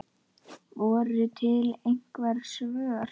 Voru til einhver svör?